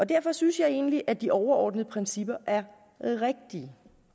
derfor synes jeg egentlig at de overordnede principper er rigtige